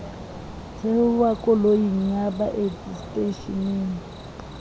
theoha koloing ya baeti seteishening